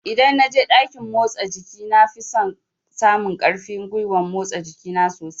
Idan na je ɗakin motsa jiki na fi samun ƙarfin gwiwan motsa jiki na sosai